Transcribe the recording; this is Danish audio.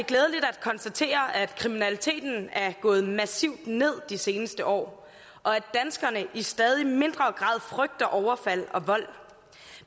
at konstatere at kriminaliteten er gået massivt ned de seneste år og at danskerne i stadig mindre grad frygter overfald og vold